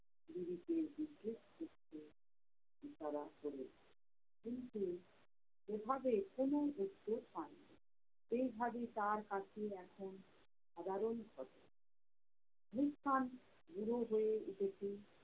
তারা চলে যায়, কিন্তু এইভাবে কোনো উত্তর পায় না। এই ভাবে তার কাছে আসা সাধারণ ঘটনা। মুসকান বড় হয়ে উঠেছে